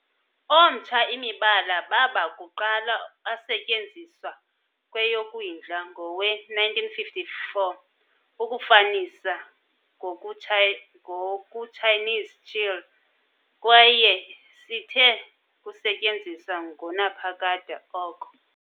omtsha imibala baba kuqala asetyenziswa Kweyokwindla ngowe-1954 ukufanisa ngokuChinese Chile, kwaye sithe kusetyenziswa ngonaphakade oko.